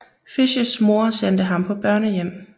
Fishs mor sendte ham på børnehjem